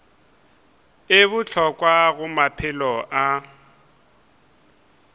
e bohlokwa go maphelo a